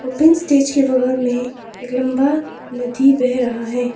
Pink stage के बगल में एक लंबा नदी बह रहा है।